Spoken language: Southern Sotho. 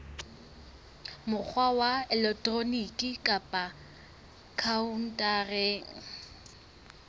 mokgwa wa elektroniki kapa khaontareng